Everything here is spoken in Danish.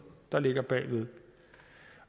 der ligger bag